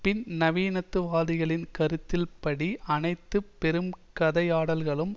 பின் நவீனத்து வாதிகளின் கருத்தின் படி அனைத்து பெரும் கதையாடல்களும்